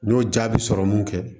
N y'o jaabi sɔrɔ mun kɛ